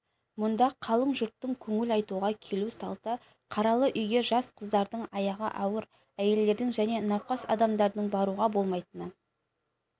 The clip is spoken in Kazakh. мұнда қалың жұрттың көңіл айтуға келу салты қаралы үйге жас қыздардың аяғы ауыр әйелдердің және науқас адамдардың баруға болмайтыны